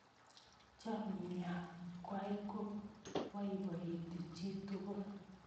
Chamyengwai ko boiboiti chitugul